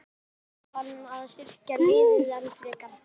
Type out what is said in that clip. En þarf hann að styrkja liðið enn frekar?